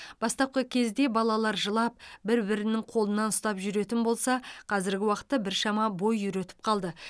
бастапқы кезде балалар жылап бір бірінің қолынан ұстап жүретін болса қазіргі уақытта біршама бой үйретіп қалды